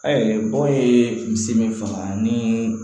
bɔgɔ ye misi min faga ni